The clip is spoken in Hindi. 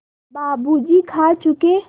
बाबू जी खा चुके